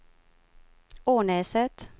Ånäset